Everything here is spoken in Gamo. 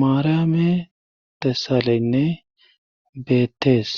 maarame tessaleynne beettees